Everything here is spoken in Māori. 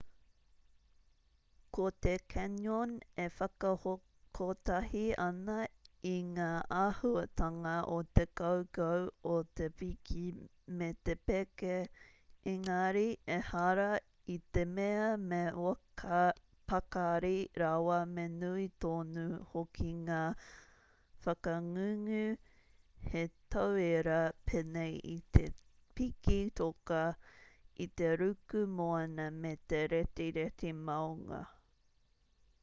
ko te canyon e whakakotahi ana i ngā āhuatanga o te kaukau o te piki me te peke -- ēngari ehara i te mea me pakari rawa me nui tonu hoki ngā whakangungu hei tauira pēnei i te piki toka i te ruku moana me te retireti maunga